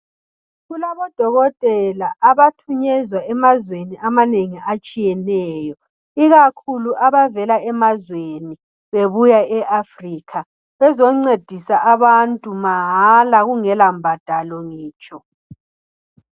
Kulabodokotela abathunyezwa bemazweni amanengi atshiyeneyo ikakhulu abavela emazweni bebuya e Africa. Bezoncedisa abantu mahala kungela mbadalo ngitsho.